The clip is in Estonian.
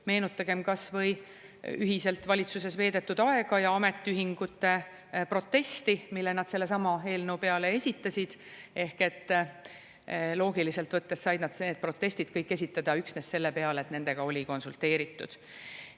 Meenutagem kas või ühiselt valitsuses veedetud aega ja ametiühingute protesti, mille nad sellesama eelnõu peale esitasid, ehk et loogiliselt võttes said nad need protestid kõik esitada üksnes selle tõttu, et nendega oli konsulteeritud.